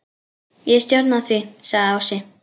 Ég stjórna því, sagði Ási.